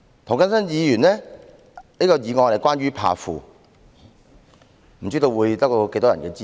涂謹申議員的議案則是關於"怕富"，不知道會得到多少人的支持。